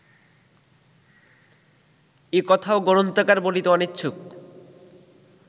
এ কথাও গ্রন্থকার বলিতে অনিচ্ছুক